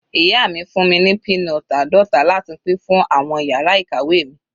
Ìyá mi fún mi ní peanut àádọta láti pín fún àwọn yàrá ìkàwé mi.